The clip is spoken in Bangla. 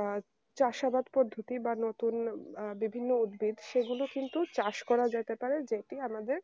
আহ চাষাবাদ বা পধুতি বা নতুন বিভিন্ন উদ্ভিত সেগুলো কিন্তু চাষ করা যেতে পারে যেটি আমাদের